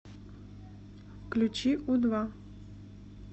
включи у два